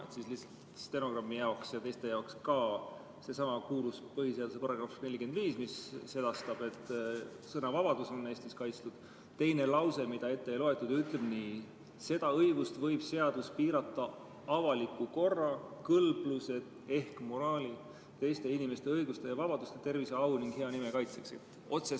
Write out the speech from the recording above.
Ütlen lihtsalt stenogrammi jaoks, aga ka teiste jaoks, et sellesama kuulsa põhiseaduse § 45, mis sedastab, et sõnavabadus on Eestis kaitstud, teine lause, mida ette ei loetud, ütleb nii: "Seda õigust võib seadus piirata avaliku korra, kõlbluse, teiste inimeste õiguste ja vabaduste, tervise, au ning hea nime kaitseks.